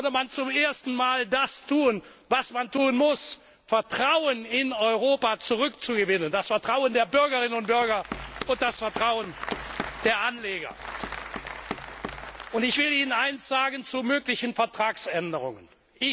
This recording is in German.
Dann würde man zum ersten Mal das tun, was man tun muss Vertrauen in Europa zurückzugewinnen, das Vertrauen der Bürgerinnen und Bürger und das Vertrauen der Anleger. Ich will Ihnen etwas zu möglichen Vertragsänderungen sagen.